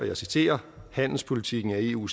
jeg citerer handelspolitikken er eu